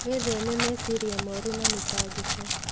Wĩtheme meciria moru na mĩtangĩko.